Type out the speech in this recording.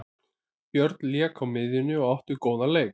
Björn lék á miðjunni og átti góðan leik.